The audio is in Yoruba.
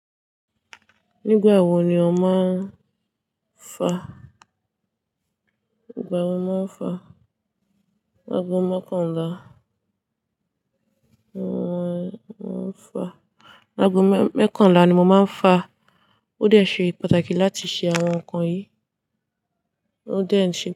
Nígbà wo ni o máa ń fa? Igbà wo máa ń fa? Lágò mekànlá. Làgò mẹ́kànlá ni mo máa ń fa. Ó dẹ̀ ṣe pàtàkì láti ṣe àwọn ǹkan yì Ó dẹ̀ n ṣe.